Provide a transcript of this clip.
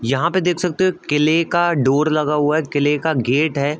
यहां पे देख सकते हो किले का डोर लगा हुआ है। किले का गेट है।